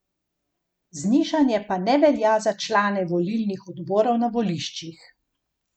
Znižanje pa ne velja za člane volilnih odborov na voliščih.